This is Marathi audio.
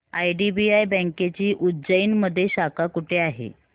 आयडीबीआय बँकेची उज्जैन मध्ये शाखा कुठे आहे